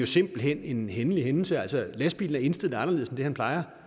simpelt hen en hændelig hændelse altså lastbilen er indstillet anderledes end den plejer